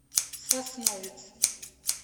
сосновец